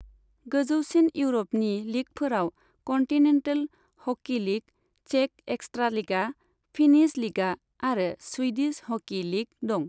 गोजौसिन इउर'पनि लीगफोराव कन्टिनेन्टेल हकी लीग, चेक एक्सट्रालिगा, फिनिश लिगा आरो स्वीडिश हकी लीग दं।